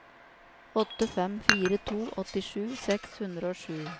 åtte fem fire to åttisju seks hundre og sju